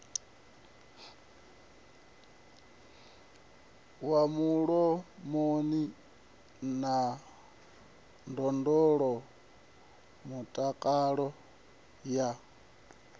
wa mulomoni na ndondolamutakalo ya